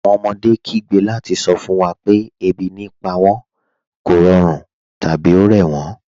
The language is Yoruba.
Awọn ọmọdé kìí gbẹ́ lati sọ fun wa pẹ̀ ẹbi ní pa wọn, kọ̀rọ̀run, tabi o rẹ wọn.